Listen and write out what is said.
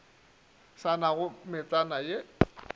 sa na le metsana ye